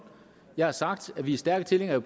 jeg har sagt at vi er stærke tilhængere af